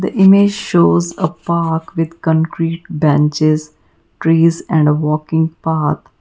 the image shows a park with concrete benches trees and a walking path.